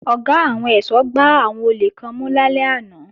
Ọ̀gá àwọn ẹ̀ṣọ́ gbá àwọn olè kan mú lálẹ́ àná